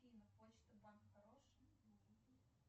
афина почта банк хороший